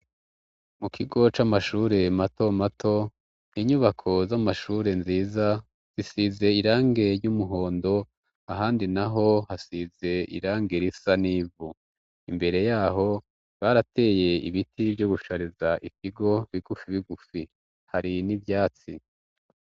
Mu kigo c'amashure mato mato, inyubako z'amashure nziza zisize irange ry'umuhondo ahandi naho hasize irange risa n'ivu, imbere yaho barateye ibiti vyo gusharIza ikigo bigufi bigufi, hari n'ivyatsi